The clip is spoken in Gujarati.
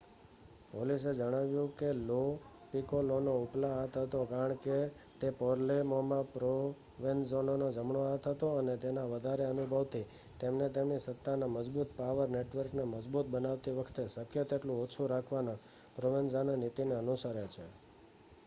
પોલીસે જણાવ્યું કે લો પીકોલોનો ઉપલા હાથ હતો કારણ કે તે પાલેર્મોમાં પ્રોવેન્ઝાનોનો જમણો હાથ હતો અને તેના વધારે અનુભવથી તેમને તેમની સત્તાના મજબુત પાવર નેટવર્કને મજબૂત બનાવતી વખતે શક્ય તેટલું ઓછું રાખવાની પ્રોવેન્ઝાનો નીતિને અનુસરે છે